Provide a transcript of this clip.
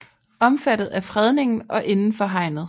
Omfattet af fredningen og indenfor hegnet